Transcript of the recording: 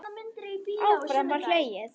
Áfram var hlegið.